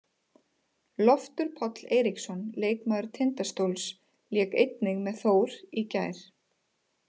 Loftur Páll Eiríksson, leikmaður Tindastóls, lék einnig með Þór í gær.